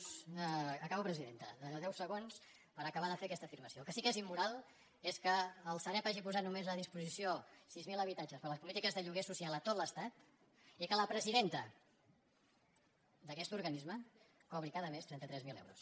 acabo presidenta deu segons per acabar de fer aquesta afirmació el que sí que és immoral és que el sareb hagi posat només a disposició sis mil habitatges per a les polítiques de lloguer social a tot l’estat i que la presidenta d’aquest organisme cobri cada mes trenta tres mil euros